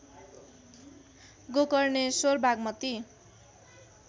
Gokarneshwar Bagmati